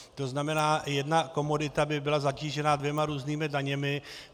To znamená, jedna komodita by byla zatížena dvěma různými daněmi.